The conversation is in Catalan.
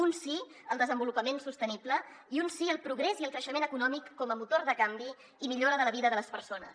un sí al desenvolupament sostenible i un sí al progrés i al creixement econòmic com a motor de canvi i millora de la vida de les persones